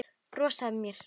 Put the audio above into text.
Brosa að mér!